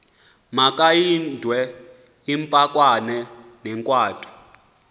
magamaindwe impikwana negwatyu